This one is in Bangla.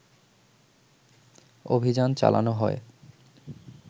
অভিযান চালানো হয়